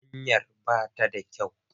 Hanyar ba ta da kyau.